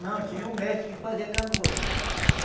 Não, tinha um mestre que fazia canoa.